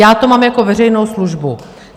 Já to mám jako veřejnou službu.